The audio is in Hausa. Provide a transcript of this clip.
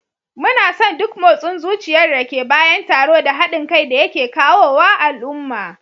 Muna son duk motsin zuciyar da ke bayan taro da haɗin kai da yake kawo wa al'umma